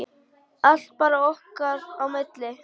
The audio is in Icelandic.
Allt bara okkar á milli.